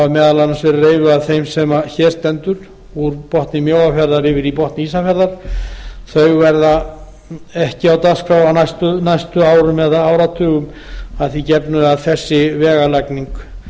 hafa meðal annars verið reifuð af þeim sem hér stendur úr botni mjóafjarðar yfir í botn ísafjarðar verða ekki á dagskrá á næstu árum eða áratugum að því gefnu að þessa vega lagning